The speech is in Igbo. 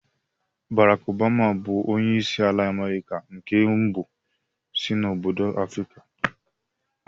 Bárákk Ọbama bù onyeisi ala Amerika nke mbụ si n'obodo Afrịka